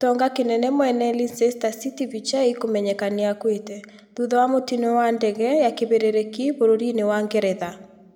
Gitonga kĩnene mwene Leicester City Vichai kũmenyeka nĩ akuĩte. Thutha wa mũtino wa ndege ya kĩberereki bũrũri-inĩ wa Ngeretha.